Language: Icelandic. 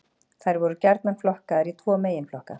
Þær eru gjarnan flokkaðar í tvo meginflokka.